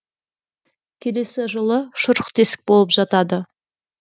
келесі жылы шұрық тесік болып жатады